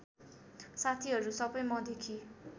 साथीहरू सबै मदेखि